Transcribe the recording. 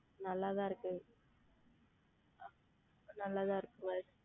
நன்றாக தான் இருக்கும் நன்றாக தான் இருக்கிறது